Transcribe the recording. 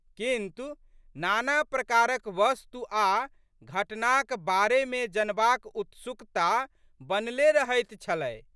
किन्तु, नाना प्रकारक वस्तु आ घटनाक बारेमे जनबाक उत्सुकता बनले रहैत छलै।